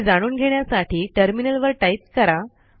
हे जाणून घेण्यासाठी टर्मिनलवर टाईप करा